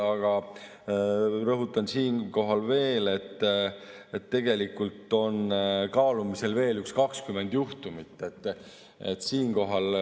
Aga rõhutan, et kaalumisel on veel umbes 20 juhtumit.